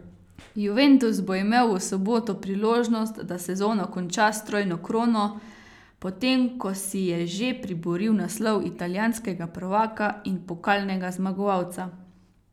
Juventus bo imel v soboto priložnost, da sezono konča s trojno krono, potem ko si je že priboril naslov italijanskega prvaka in pokalnega zmagovalca.